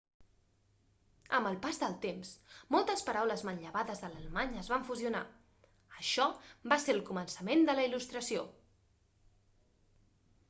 amb el pas del temps moltes paraules manllevades de l'alemany es van fusionar això va ser el començament de la il·lustració